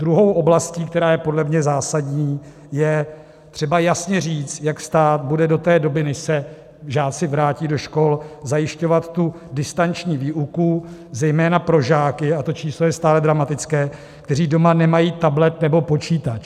Druhou oblastí, která je podle mě zásadní, je třeba jasně říct, jak stát bude do té doby, kdy se žáci vrátí do škol, zajišťovat tu distanční výuku zejména pro žáky - a to číslo je stále dramatické -, kteří doma nemají tablet nebo počítač.